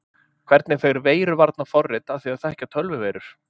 Hvernig fer veiruvarnarforrit að því að þekkja tölvuveirur?